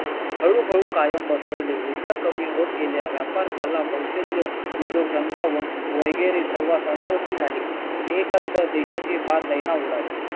हळू हळू कायम बसवले विचार कमी होत गेल्या कला कौशल्य उद्योग धंदा व वगैरे सर्वास अनुमती झाली देशाची फार दैना उडाली